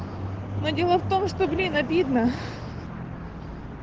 но дело в том что блин обидно